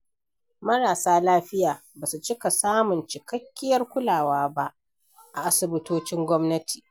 Marasa lafiya ba su cika samun cikakkiyar kulawa ba a asibitocin gwamnati.